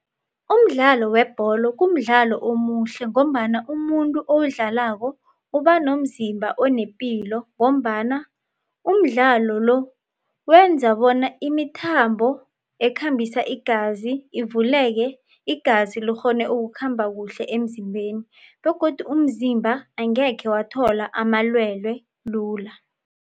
Umdlalo webholo kumdlalo omuhle ngombana umuntu owudlalako ubanomzimba onepilo ngombana umdloalo lo wenza bona imithambo ekhambisa igazi ivuleke igazi lirhone ukukhamba kuhle emzimbeni begodu umzimba angekhe wathola amalwelwe lula.